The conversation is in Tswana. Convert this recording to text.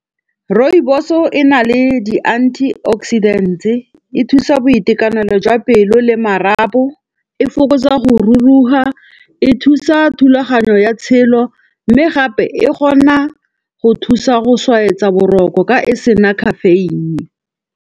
Rooibos-o e na le di-anti oxidant-e, e thusa boitekanelo jwa pelo le marapo, e fokotsa go ruruga. E thusa thulaganyo ya tshelo mme gape e kgona go thusa go swaetsa boroko ka e sena caffeine.